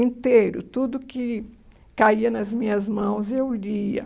inteiro, tudo que caía nas minhas mãos, eu lia.